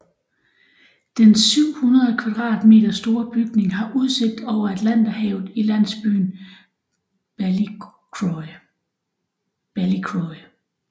Den 700 kvadratmeter store bygning har udsigt over Atlanterhavet i landsbyen Ballycroy